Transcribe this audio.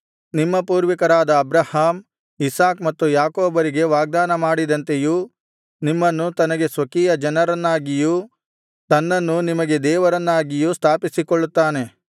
ನಿಮ್ಮ ಪೂರ್ವಿಕರಾದ Abraham Isaac ಮತ್ತು ಯಾಕೋಬರಿಗೆ ವಾಗ್ದಾನ ಮಾಡಿದಂತೆಯೂ ನಿಮ್ಮನ್ನು ತನಗೆ ಸ್ವಕೀಯಜನರನ್ನಾಗಿಯೂ ತನ್ನನ್ನು ನಿಮಗೆ ದೇವರನ್ನಾಗಿಯೂ ಸ್ಥಾಪಿಸಿಕೊಳ್ಳುತ್ತಾನೆ